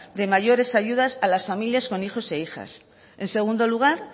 de mayores ayudas a las familias con hijos e hijas en segundo lugar